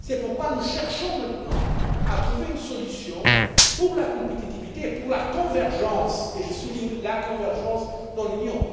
C'est pourquoi nous cherchons maintenant à trouver une solution pour la compétitivité et pour la convergence et je souligne la convergence dans l'Union.